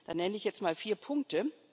Da nenne ich jetzt mal vier Punkte.